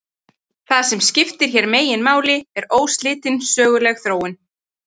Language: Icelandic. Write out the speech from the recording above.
Það sem skiptir hér meginmáli er óslitin söguleg þróun.